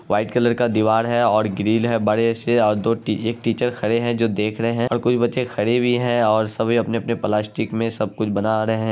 White colour क दीवार है ओर ग्रील है बड़े से ओर एक दो एक टीचर खड़े है जो देख रहे है ओर कुछ बच्चे खड़े भी है ओर सभी अपने अपने प्लास्टिक में सब कुछ बना रहे है।